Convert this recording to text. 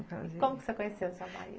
E como você conheceu seu marido?